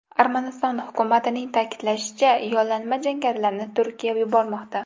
Armaniston hukumatining ta’kidlashicha , yollanma jangarilarni Turkiya yubormoqda.